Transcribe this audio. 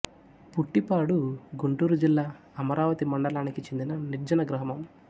పుట్టిపాడు గుంటూరు జిల్లా అమరావతి మండలానికి చెందిన నిర్జన గ్రామం